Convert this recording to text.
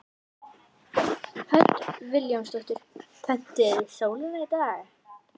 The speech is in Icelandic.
Hödd Vilhjálmsdóttir: Pöntuðuð þið sólina í dag?